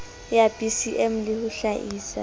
ya bcm le ho hlaisa